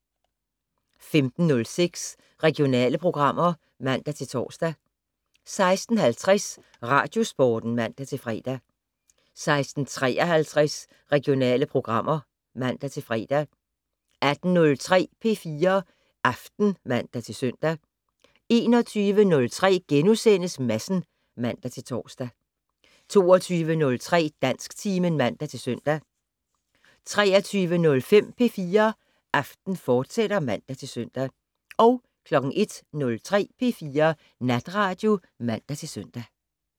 15:06: Regionale programmer (man-tor) 16:50: Radiosporten (man-fre) 16:53: Regionale programmer (man-fre) 18:03: P4 Aften (man-søn) 21:03: Madsen *(man-tor) 22:03: Dansktimen (man-søn) 23:05: P4 Aften, fortsat (man-søn) 01:03: P4 Natradio (man-søn)